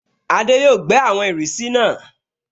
Adé yóò gbẹ́ àwọn ìrísí náà